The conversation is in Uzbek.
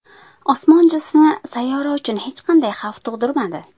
Osmon jismi sayyora uchun hech qanday xavf tug‘dirmadi.